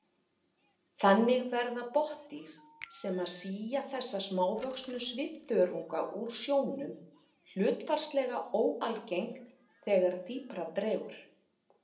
Þannig verða botndýr sem sía þessa smávöxnu svifþörunga úr sjónum hlutfallslega óalgeng þegar dýpra dregur.